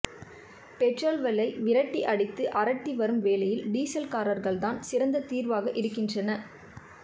petrol விலை விரட்டி அடித்து அரட்டி வரும் வேளையில் டீசல் கார்கள்தான் சிறந்த தீர்வாக இருக்கின்றன